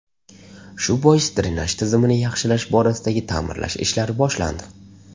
Shu bois drenaj tizimini yaxshilash borasidagi ta’mirlash ishlari boshlandi.